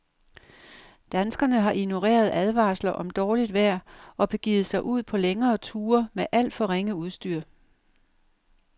Danskerne har ignoreret advarsler om dårligt vejr og begivet sig ud på længere ture med alt for ringe udstyr.